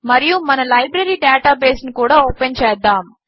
మరియు మన library database ను కూడా ఓపెన్ చేద్దాము